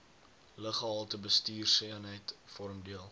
luggehaltebestuurseenheid vorm deel